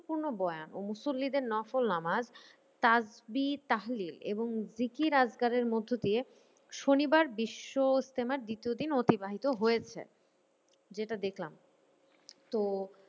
পূর্ণবয়ান ও মুসুল্লিদের নোসোল নামাজ এবং জিকির অজগরের মধ্যে দিয়ে শনিবার বিশ্বইস্তেমার দ্বিতীয় দিন অতিবাহিত হয়েছে। যেটা দেখলাম তো